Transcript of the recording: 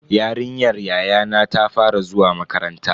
Yarinyar yayana ta fara zuwa makaranta.